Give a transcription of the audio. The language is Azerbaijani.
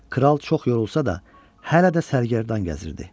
Kral çox yorulsa da, hələ də sərgərdan gəzirdi.